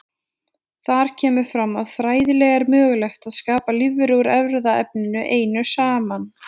Þar kemur fram að fræðilega er mögulegt að skapa lífveru úr erfðaefninu einu saman.